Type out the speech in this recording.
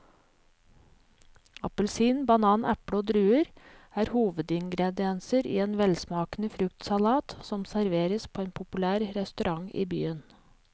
Appelsin, banan, eple og druer er hovedingredienser i en velsmakende fruktsalat som serveres på en populær restaurant i byen.